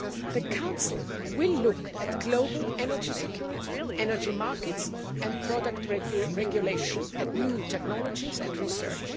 The Council will look at global energy security, energy markets and product regulation, at new technologies and research.